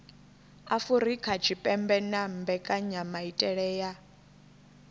afurika tshipembe na mbekanyamaitele ya